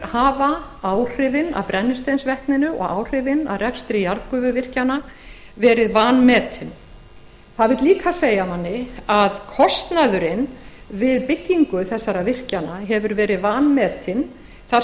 hafa áhrifin af brennisteinsvetninu og áhrifin af rekstri jarðgufuvirkjana verið vanmetin það segir manni líka að kostnaðurinn við byggingu þessara virkjana hefur verið vanmetinn þar